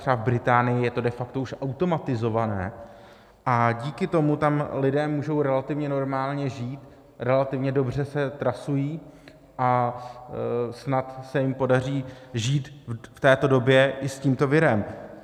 Třeba v Británii je to de facto už automatizované a díky tomu tam lidé můžou relativně normálně žít, relativně dobře se trasují a snad se jim podaří žít v této době i s tímto virem.